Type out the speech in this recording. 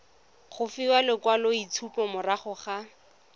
go fiwa lekwaloitshupo morago ga